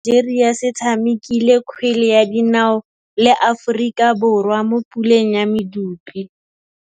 Setlhopha sa Nigeria se tshamekile kgwele ya dinaô le Aforika Borwa mo puleng ya medupe.